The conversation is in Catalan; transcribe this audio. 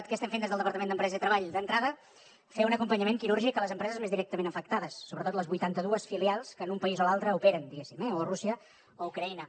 què estem fent des del departament d’empresa i treball d’entrada fer un acompanyament quirúrgic a les empreses més directament afectades sobretot les vuitanta dues filials que en un país o l’altre operen diguéssim o rússia o ucraïna